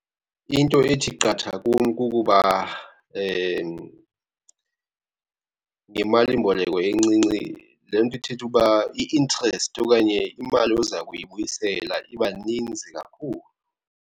Into ethi qatha kum kukuba ngemalimboleko encinci, le nto ithetha ukuba i-interest okanye imali oza kuyibuyisela iba ninzi kakhulu.